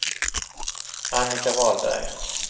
Annika Wahlberg